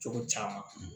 Cogo caman